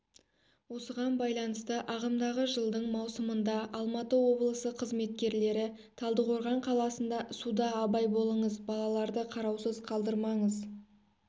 осыған байланысты ағымдығы жылдың маусымында алматы облысы қызметкерлері талдықорған қаласында суда бай болыңыз балаларды қараусыз қалдырмаңыз